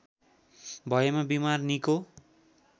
भएमा बिमार निको